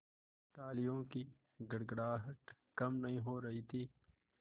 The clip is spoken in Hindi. तालियों की गड़गड़ाहट कम नहीं हो रही थी